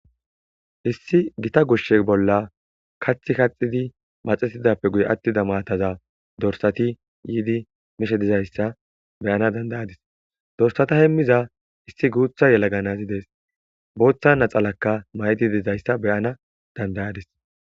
Issi gita gushshe bolla kathi kaxidi maxetidappe guye attida maataza dorsati yiidi mishe dizayssa beyana dandayadis dorsata hemmiza issi guutha yelaganazyidees booththa naxalakka may7di dizayssa beyana dandayadis.